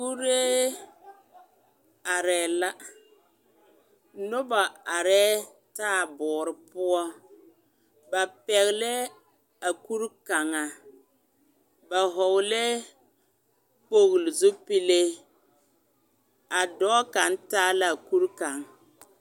Kuree arɛɛ la, noba arɛɛ taaboore poɔ, ba pɛgelɛɛ a kuri kaŋa, ba hɔɔlɛɛ kpogili zupile, a dɔɔ kaŋ taa laa kuri kaŋ.